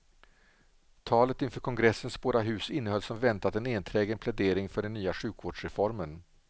Talet inför kongressens båda hus innehöll som väntat en enträgen plädering för den nya sjukvårdsreformen.